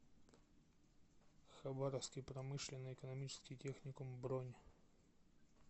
хабаровский промышленно экономический техникум бронь